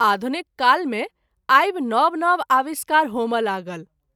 आधुनिक काल मे आबि नव नव आविष्कार होमए लागल।